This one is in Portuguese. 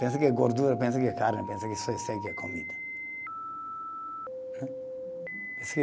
Pensa que é gordura, pensa que é carne, pensa que só isso aí que é comida.